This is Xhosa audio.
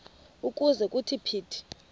ukuze kuthi phithi